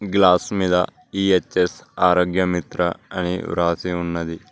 Glass మీద ఈ H S Arogya Mitra అని రాసి ఉన్నది.